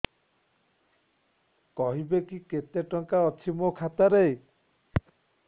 କହିବେକି କେତେ ଟଙ୍କା ଅଛି ମୋ ଖାତା ରେ